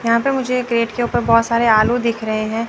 यहां पर मुझे गेट के ऊपर बहुत सारे आलू दिख रहे हैं।